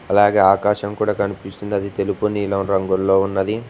అలాగే ఆకాశం కూడా కనిపిస్తుంది అది తెలుపు నీలం రంగుల్లో ఉన్నది.